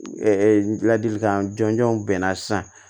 ladilikan jɔnjɔn bɛ n na sisan